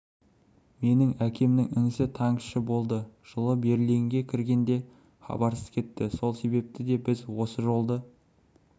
менің әкемнің інісі танкіші болды жылы берлинге кіргенде хабарсыз кетті сол себепті де біз осы жолды